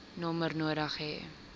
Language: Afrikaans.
nommer nodig hê